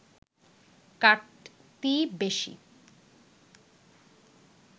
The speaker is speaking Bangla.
কাটতি বেশি